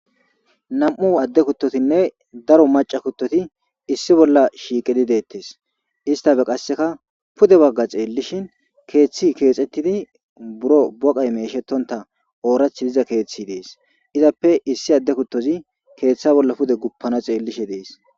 Nam'u adde kuttotinne daro macca kuttoti issi bolla shiqqid dettes istappe qaseka pudde bagga xeelishein keththi kexxetidi buro boqqay meshetonta oorathi dizza keththi deesi izzappe issi adde kuttozi keththa bolla pudde guppanaw xellishe deesi.